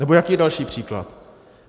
Nebo jaký je další příklad?